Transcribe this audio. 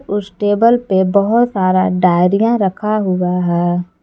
उस टेबल पे बहोत सारा डायरिया रखा हुआ है।